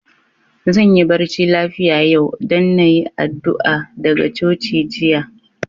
Zan yi barci lafia yau, dan na yi addu'a daga coci jiya.